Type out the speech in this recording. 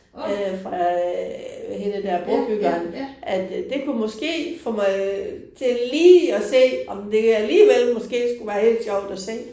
Øh hende der brobyggeren at det kunne måske få mig til lige at se om det alligevel måske skulle være helt sjovt at se